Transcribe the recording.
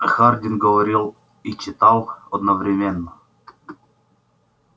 хардин говорил и читал одновременно